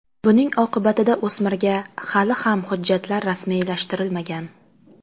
Buning oqibatida o‘smirga hali ham hujjatlar rasmiylashtirilmagan.